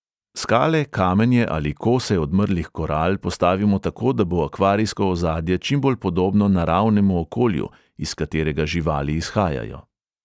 Skale, kamenje ali kose odmrlih koral postavimo tako, da bo akvarijsko ozadje čimbolj podobno naravnemu okolju, iz katerega živali izhajajo.